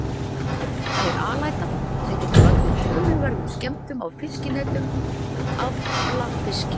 Hann er alæta sem getur valdið töluverðum skemmdum á fiskinetum og afla fiskimanna.